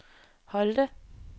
Holte